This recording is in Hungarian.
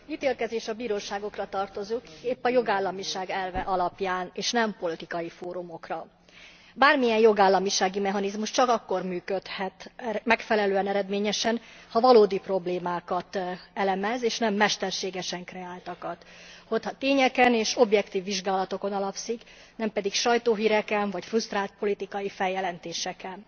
Az ítélkezés a bíróságokra tartozik, épp a jogállamiság elve alapján, és nem politikai fórumokra. Bármilyen jogállamisági mechanizmus csak akkor működhet megfelelően, eredményesen, ha valódi problémákat elemez, és nem mesterségesen kreáltakat, tényeken és objektív vizsgálatokon alapszik, nem pedig sajtóhíreken, vagy frusztrált politikai feljelentéseken.